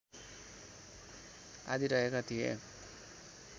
आदि रहेका थिए